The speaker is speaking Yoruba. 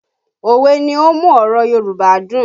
Òwe ni ó ń mú ọ̀rọ̀ Yorùbá dùn